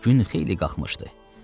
Gün xeyli qalxmışdı.